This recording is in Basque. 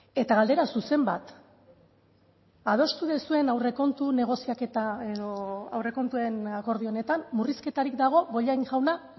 eta galdera zuzen bat adostu duzuen aurrekontu negoziaketa edo aurrekontuen akordio honetan murrizketarik dago bollain jauna